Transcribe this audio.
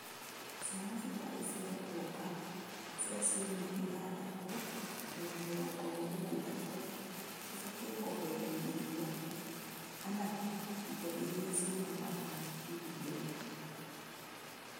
ciana citarĩ cĩa kuonga cia ciumia ithathatu nginya mĩrongo ĩĩrĩ na ithatũ cibatiĩ kũheo iria kana indo iria ciumaga iria inĩ